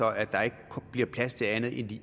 at der ikke bliver plads til andet i